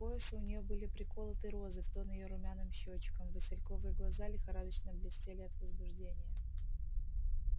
к поясу у неё были приколоты розы в тон её румяным щёчкам васильковые глаза лихорадочно блестели от возбуждения